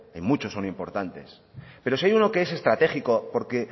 muchos son importantes pero si hay uno que es estratégico porque